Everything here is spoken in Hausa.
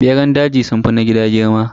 Beran daji sunfi na gida girma.